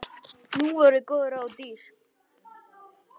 Nú voru góð ráð dýr!